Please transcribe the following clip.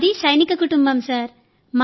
మాది సైనిక కుటుంబం సార్